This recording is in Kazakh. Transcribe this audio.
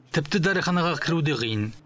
тіпті дәріханаға кіру де қиын